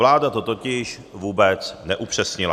Vláda to totiž vůbec neupřesnila.